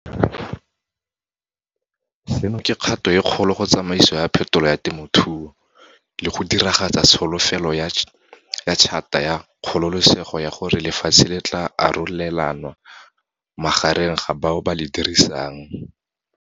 Seno ke kgato e kgolo go tsamaiso ya phetolo ya temothuo, le go diragatsa tsholofetso ya Tšhata ya Kgololosego ya gore lefatshe le tla arolelanwa magareng ga bao ba le dirisang.